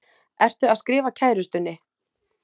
Ertu að skrifa kærustunni?